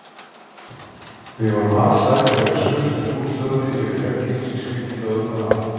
Við vorum alsæl þegar við skutluðum búslóðinni yfir vegginn sem skildi lóðirnar að.